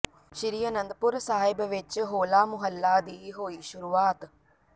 ਸ਼੍ਰੀ ਆਨੰਦਪੁਰ ਸਾਹਿਬ ਵਿਚ ਹੋਲਾ ਮੁਹੱਲਾ ਦੀ ਹੋਈ ਸ਼ੁਰੂਆਤ